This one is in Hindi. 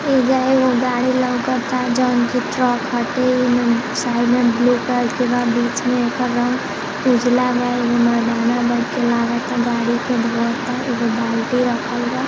ऐजा एगो गाड़ी लौकता जौन की ट्रक हटे। ऐमे साइड में ब्लू कलर के बा। बीच में एकर रंग उजला बा। एगो मर्दाना बैठ के लागता गाड़ी के धोवता। एगो बाल्टी रखल बा।